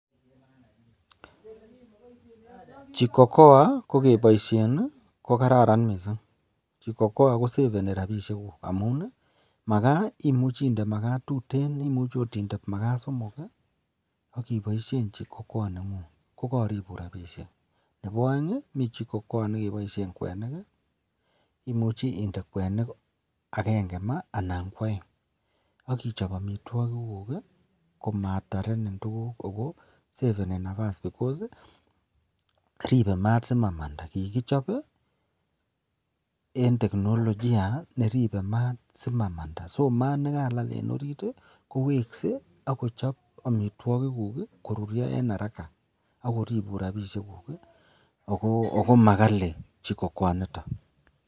Jiko Koa ko keboishen ko kararan mising, jiko Koa koseveni rabishek amun imuche inde makaa tuten, imuche oot inde makaa somok ak iboishen jiko koa nengung ko koribun rabishek, nebo oeng mii jiko Koa nekeboishen kwenik, imuche inde kwenik akeng'e maa anan ko oeng ak ichob amitwokik komatarenin tukuk ak ko seveni nabas because ribee maat simanamda kikichob en tekinolojia neribe maat simanamda, so maat nekalal en oriit kowekse ak kochob amitwokikuk koruryo en araka ak koribun rabishekuk ak ko makali jiko Koa initon.